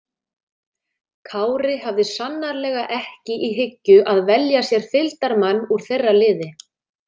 Kári hafði sannarlega ekki í hyggju að velja sér fylgdarmann úr þeirra liði.